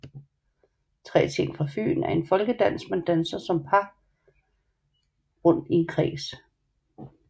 Tre ting fra fyn er en folkedans man danser som par rundt i en kreds